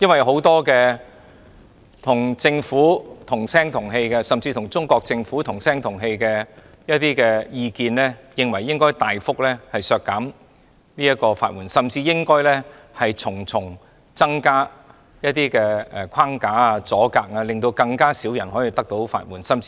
很多與政府、甚至與中國政府同聲同氣的意見認為，應該大幅削減法援，甚至應加設重重限制，令更少人能夠申請法援。